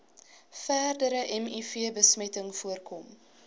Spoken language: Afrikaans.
verdere mivbesmetting voorkom